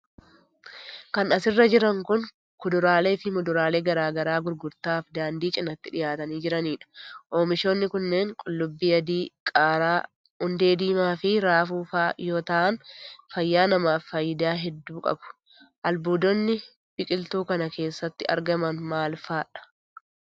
Kan as irra jiran kun, kuduraalee fi muduraalee garaa garaa gurgrtaaf daandii cinaatti dhihaatanii jiraniidha. Oomishoonni kunneen : qullubbii adii ,qaaraa, hundee diimaa fi raafuu faa yoo ta'an fayyaa namaaf faayidaa hedduu qabu. Albuudonni ,biqiltuu kana keessatti argaman maal faa dha.